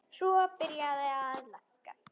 Svo var byrjað að leggja.